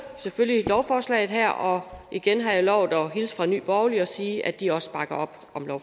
selvfølgelig lovforslaget her og igen har jeg lovet at hilse fra nye borgerlige og sige at de også bakker op